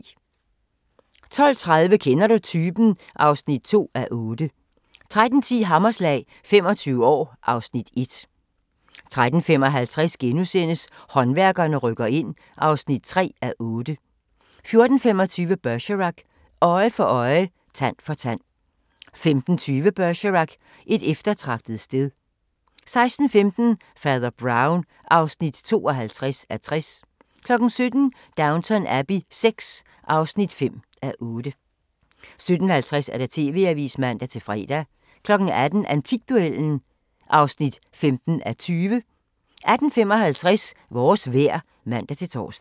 12:30: Kender du typen? (2:8) 13:10: Hammerslag – 25 år (Afs. 1) 13:55: Håndværkerne rykker ind (3:8)* 14:25: Bergerac: Øje for øje, tand for tand 15:20: Bergerac: Et eftertragtet sted 16:15: Fader Brown (52:60) 17:00: Downton Abbey VI (5:8) 17:50: TV-avisen (man-fre) 18:00: Antikduellen (15:20) 18:55: Vores vejr (man-tor)